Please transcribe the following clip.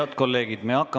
Head kolleegid!